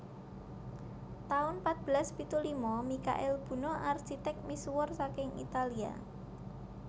taun patbelas pitu lima Mikail Buno arsitek misuwur saking Italia